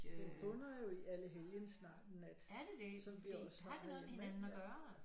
Den bunder jo i Allehelgens nat som vi også har herhjemme ikke